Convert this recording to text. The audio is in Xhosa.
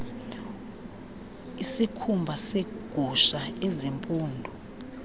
isikhumba segusha ezimpundu